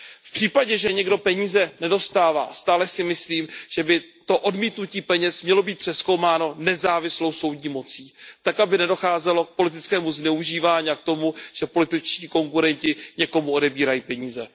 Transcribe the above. V případě, že někdo peníze nedostává, stále si myslím, že by to odmítnutí peněz mělo být přezkoumáno nezávislou soudní mocí tak, aby nedocházelo k politickému zneužívání a k tomu, že političtí konkurenti někomu odebírají peníze.